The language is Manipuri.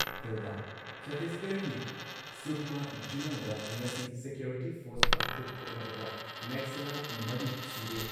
ꯀꯤꯜꯗꯥ ꯆꯠꯇꯤꯁꯒꯔꯍꯒꯤ ꯁꯨꯛꯃꯥ ꯖꯤꯂꯥꯗ ꯉꯁꯤ ꯁꯤꯀ꯭ꯌꯣꯔꯤꯇꯤ ꯐꯣꯔꯁꯀ ꯈꯨꯠ ꯊꯣꯛꯅꯕꯗ ꯅꯦꯛꯁꯂꯥꯢꯠ ꯃꯔꯤ ꯁꯤꯔꯦ ꯫